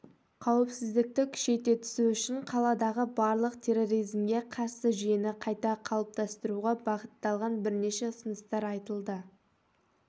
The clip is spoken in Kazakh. қауіпсіздікті күшейте түсу үшін қаладағы барлық терроризмге қарсы жүйені қайта қалыптастыруға бағытталған бірнеше ұсыныстар айтылды